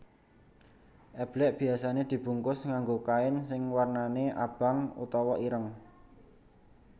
Eblek biasane dibungkus nganggo kain sing warnane abang utawa ireng